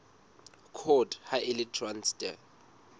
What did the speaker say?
court ha e le traste